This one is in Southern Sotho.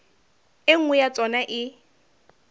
e nngwe ya tsona e